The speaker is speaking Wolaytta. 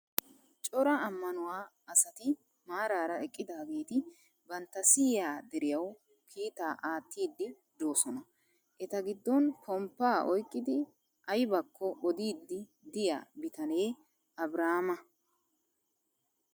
Coraa ammanuwaa asati maaraara eqqidaageti banttana siyiyaa deriyawu kiitaa aattiiddi doosona. Eta giddon pomppaa oyikkidi ayibakko odiiddi diyyaa bitanee Abiraama.